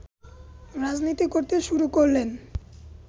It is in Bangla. রাজনীতি করতে শুরু করলেন